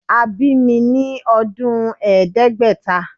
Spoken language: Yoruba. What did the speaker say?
A bi mi ni ọdun Ẹẹdẹgbẹta